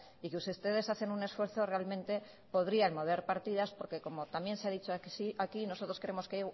y que si ustedes hacen un esfuerzo realmente podrían mover partidas porque como también se ha dicho aquí nosotros creemos que